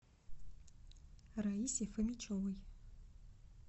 раисе фомичевой